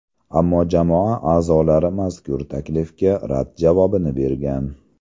Ammo jamoa a’zolari mazkur taklifga rad javobini bergan.